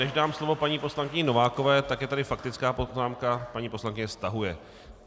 Než dám slovo paní poslankyni Novákové, tak je tady faktická poznámka - paní poslankyně stahuje.